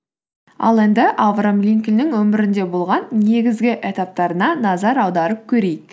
ал енді авраам линкольннің өмірінде болған негізгі этаптарына назар аударып көрейік